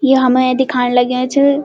यो हमै दिखाण लग्या च।